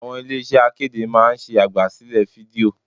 Àwọn ilé iṣẹ́ akéde máa ń ṣe àgbà sílẹ̀ fídíò.